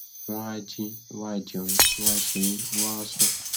wọn a jí wọn a jẹun wọn a ṣeré wọn á sùn